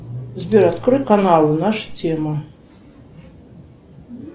сбер открой канал наша тема